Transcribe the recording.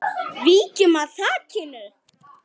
Víkjum að þakinu.